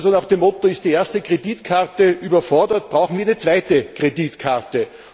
Also nach dem Motto Ist die erste Kreditkarte überfordert, brauchen wir eine zweite Kreditkarte.